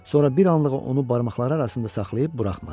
Sonra bir anlığına onu barmaqları arasında saxlayıb buraxmadı.